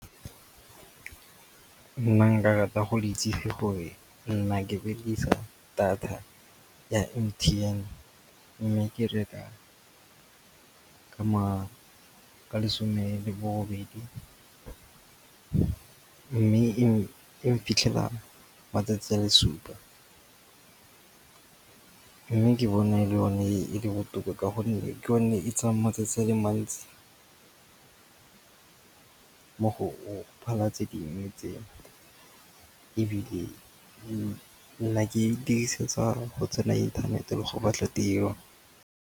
Nna nka rata go itse fa gore nna ke berekisa data ya M_T_N mme ke reka ka lesome le bobedi. Mme e mphitlhela matsatsi a le supa. Mme ke bona e le one e e le botoka ka gonne ke yone e tsayang matsatsi a le mantsi mo go phala tse dingwe tse. Ebile nna ke e dirisetsa go tsena inthanete le go batla tiro.